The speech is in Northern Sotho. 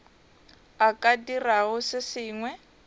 a ka dirago se sengwe